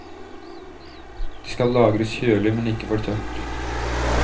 De skal lagres kjølig, men ikke for tørt.